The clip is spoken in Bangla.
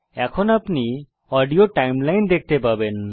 এখন আপনি অডিও সময়রেখা দেখতে পাবেন